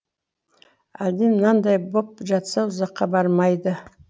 әлден мынандай боп жатса ұзаққа бармайды